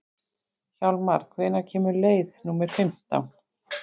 Hjálmar, hvenær kemur leið númer fimmtán?